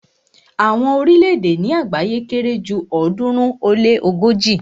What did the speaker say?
Àwọn orílẹ̀-èdè ni àgbáyé kere ju ọ̀ọ́dúnrún ó lé ogoji